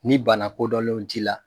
Ni bana kodɔnlenw t'i la.